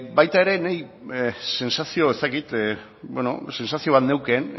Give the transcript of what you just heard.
baita ere ni sentsazio sentsazio bat neukan